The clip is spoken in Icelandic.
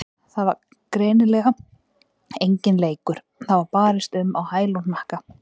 Þetta var greinilega enginn leikur, það var barist um á hæl og hnakka.